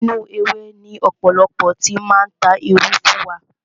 Inú ewé ni ọ̀pọ̀lọpọ̀ ti máa ń ta irú fún wa.